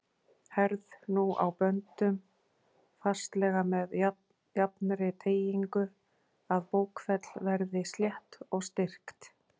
Herð nú á böndum fastlega með jafnri teygingu, að bókfell verði slétt og styrkt.